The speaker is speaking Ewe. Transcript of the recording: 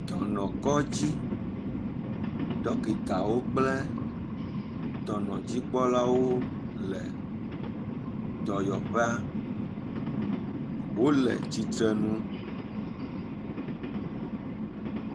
Dɔnɔkɔdzi. Ɖɔkitawo kple dɔnɔdzikpɔlawo le dɔyɔƒea. Wole tsitre nu.